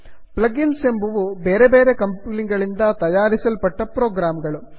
plug ins ಎಂಬುವು ಬೇರೆ ಬೇರೆ ಕಂಪನಿಗಳಿಂದ ತಯಾರಿಸಲ್ಪಟ್ಟ ಪ್ರೋಗ್ರಾಮ್ ಗಳು